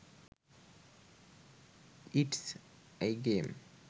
it's a game